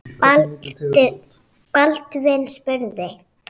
Baldvin spurði